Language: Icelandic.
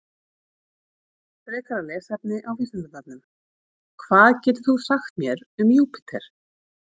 Frekara lesefni á Vísindavefnum: Hvað getur þú sagt mér um Júpíter?